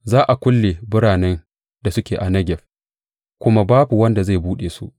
Za a kulle biranen da suke a Negeb, kuma babu wanda zai buɗe su.